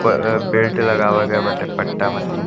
प बेल्ट लगाव गए बाटे पट्टा मतीन --